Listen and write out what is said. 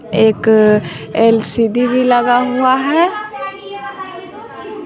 एक एल_सी_डी भी लगा हुआ है।